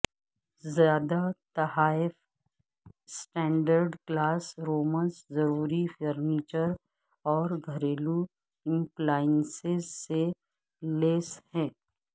زیادہ تحائف standard class rooms ضروری فرنیچر اور گھریلو ایپلائینسز سے لیس ہیں